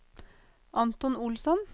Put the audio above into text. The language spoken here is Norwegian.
Anton Olsson